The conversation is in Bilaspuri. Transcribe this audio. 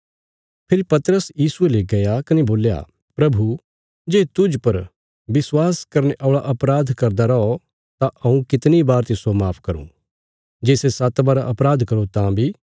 फेरी पतरस यीशुये ले गया कने बोल्या प्रभु जे तुज़ पर विश्वास करने औल़ा अपराध करदा रौ तां हऊँ कितणी बार तिस्सो माफ करूँ जे सै सात्त बार अपराध करो तां बी